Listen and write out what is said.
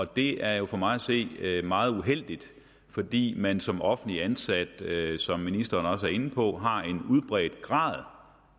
det er jo for mig at se meget uheldigt fordi man som offentligt ansat som ministeren også er inde på har en udbredt grad